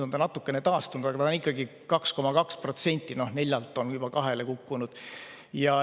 Natukene on ta taastunud, aga ta on ikkagi 2,2%, 4%-lt on 2%‑le kukkunud.